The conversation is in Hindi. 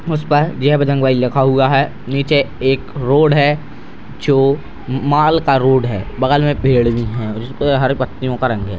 उसपर जय बजरंगबली लिखा हुआ है निचे एक रोड है जो मॉल का रोड है बगल में पेड़ भी हैं उसपर हरे पत्तियों का रंग है |